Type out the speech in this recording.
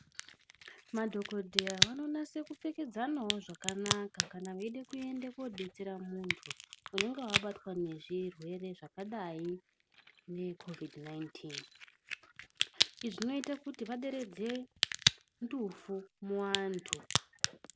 Madhokodheya vanonasawo kupfekedzana zvakanaka kana veida kuenda kodetsera muntu unenge abatwa nezvirwere zvakadai nge kovhidhi nainitini. Izvi zvinoita kuti vaderetse ndufu muantu.